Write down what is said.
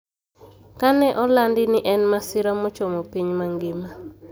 Ka ne olandi ni en masira mochomo piny mangima